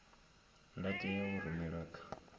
la tea u rumelwa kha